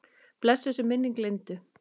Blessuð sé minning Lindu.